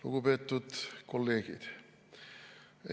Lugupeetud kolleegid!